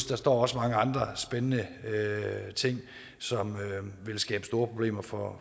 der står også mange andre spændende ting som ville skabe store problemer for